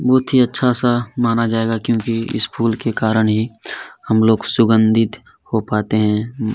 बहुत ही अच्छा- सा माना जायेगा क्यूँकि इस फूल के कारण ही हमलोग सुगन्धित हो पाते हैं।